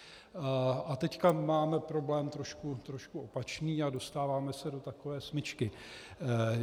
A teď máme problém trošku opačný a dostáváme se do takové smyčky.